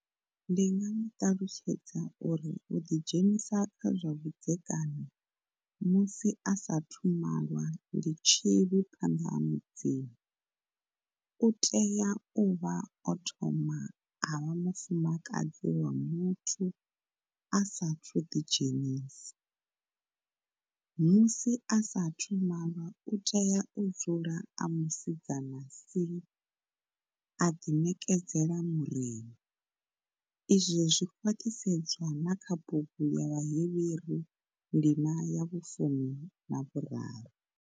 Ndi nga mu ṱalutshedza uri u ḓi dzhenisa kha zwa vhudzekani musi a saathu malwa ndi tshivhi phanḓa ha Mudzimu. U tea u vha o thoma a vha mufumakadzi wa muthu a saathu ḓi dzhenisa. Musi a saathu u malwa u tea u dzula a musidzana si, a ḓiṋekedza Murena. Izwo zwi khwaṱhisedzwa na kha bugu ya Vhahevheru ndima ya vhufumi na vhuraru.